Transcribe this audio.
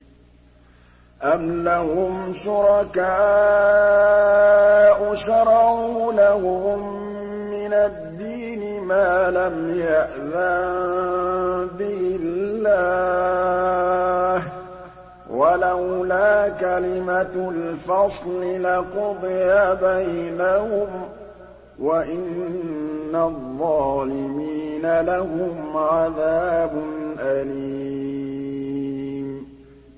أَمْ لَهُمْ شُرَكَاءُ شَرَعُوا لَهُم مِّنَ الدِّينِ مَا لَمْ يَأْذَن بِهِ اللَّهُ ۚ وَلَوْلَا كَلِمَةُ الْفَصْلِ لَقُضِيَ بَيْنَهُمْ ۗ وَإِنَّ الظَّالِمِينَ لَهُمْ عَذَابٌ أَلِيمٌ